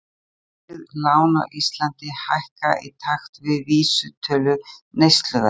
Verðtryggð lán á Íslandi hækka í takti við vísitölu neysluverðs.